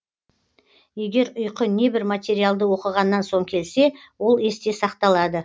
егер ұйқы небір материалды оқығаннан соң келсе ол есте сақталады